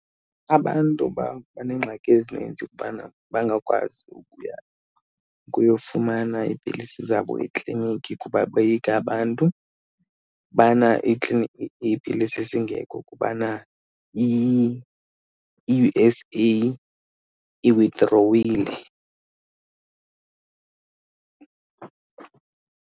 Abantu babanengxaki ezininzi ukubana bangakwazi ukuya kuyofumana iipilisi zabo ekliniki kuba boyika abantu ubana iipilisi zingekho kubana i-U_S_A iwithdrowile.